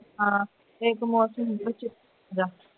ਹਾਂ ਇਕ ਮੌਸਮ